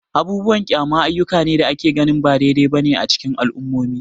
Abubuwan kyama ayyuka ne da ake ganin ba daidai ba ne a cikin al'ummomi.